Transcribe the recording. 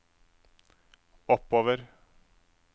oppover